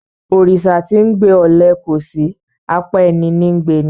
Òrìsà tí 'ńgbe ọle kòsí; apá ẹní ní ńgbe ni.